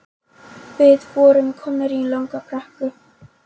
Við vorum komin í langa brekku